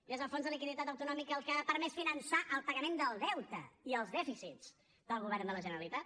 i és el fons de liquiditat autonòmic el que ha permès finançar el pagament del deute i els dèficits del govern de la generalitat